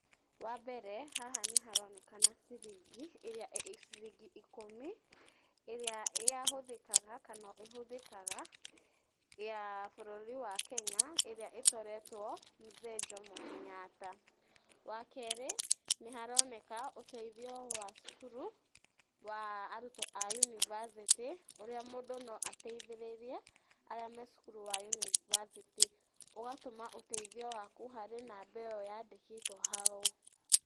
Wa mbere haha nĩ haronekana ciringi ĩrĩa ĩ ciroingi ikũmi ĩrĩa ya hũthĩkaga kana ĩhũthĩkaga ya bũrũri wa Kenya ĩrĩa ĩcoretwo Mzee Njomo Kenyatta. Wa kerĩ nĩ haroneka ũteithio wa cukuru wa arutwo a university ũrĩa mũndũ no ateithĩrĩrie arĩa me cukyuru wa university ũgatũma ũteithio waku harĩ namba ĩyo yandĩkĩtwo hau.